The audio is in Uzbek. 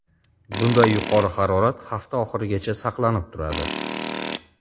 Bunday yuqori harorat hafta oxirigacha saqlanib turadi.